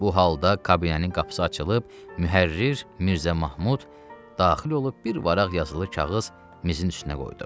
Bu halda kabinənin qapısı açılıb, mühərrir Mirzə Mahmud daxil olub bir vərəq yazılı kağız mizin üstünə qoydu.